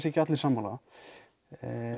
ekki allir sammála